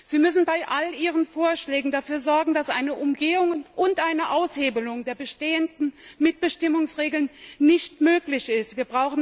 Sie müssen bei all Ihren Vorschlägen dafür sorgen, dass eine Umgehung und eine Aushebelung der bestehenden Mitbestimmungsregeln nicht möglich sind.